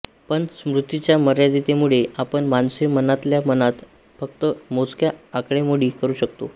पण स्मृतीच्या मर्यादिततेमुळे आपण माणसे मनातल्या मनात फक्त मोजक्या आकडेमोडी करू शकतो